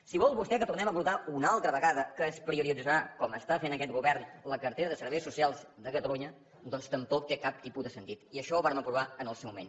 si vol vostè que tornem a abordar una altra vegada que es prioritzarà com està fent aquest govern la cartera de serveis socials de catalunya doncs tampoc té cap tipus de sentit i això ho vàrem aprovar en el seu moment